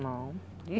Não.